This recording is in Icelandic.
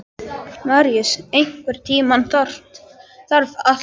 Maríus, einhvern tímann þarf allt að taka enda.